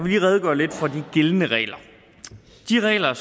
lige redegøre lidt for de gældende regler de regler